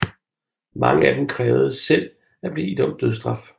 Mange af dem krævede selv at blive idømt dødsstraf